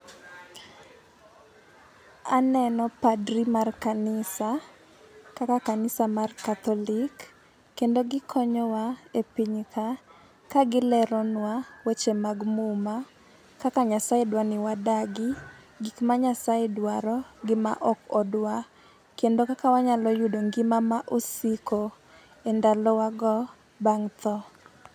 Aneno padri mar kanisa, kaka kanisa mar Catholic, kendo gikonyowa e pinyka, ka gileronwa weche mag muma, kaka Nyasae dwa ni wadagi, gik ma Nyasae dwaro gi ma ok odwa, kendo kaka wanyalo yudo ngima ma osiko, e ndalowago bang' tho